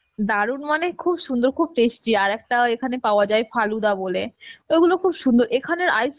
দারুন মানে খুব সুন্দর খুব tasty, আর একটা ওইখানে পাওয়া যায় ফালুদা বোলে তো এগুলো খুব সুন্দর এখানের, ice